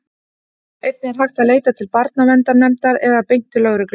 einnig er hægt að leita til barnaverndarnefndar eða beint til lögreglu